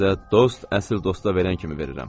Sizə dost əsl dosta verən kimi verirəm.